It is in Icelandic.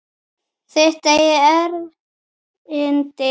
Þitt eigið erindi.